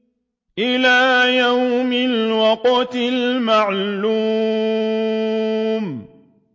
إِلَىٰ يَوْمِ الْوَقْتِ الْمَعْلُومِ